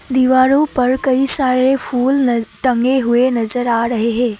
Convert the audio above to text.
दीवारों पर कई सारे फूल टंगे हुए नजर आ रहे हैं।